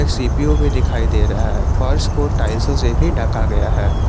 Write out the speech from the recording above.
CPU भी दिखाई दे रहा है फर्श को टाइल्सों से भी ढका गया है।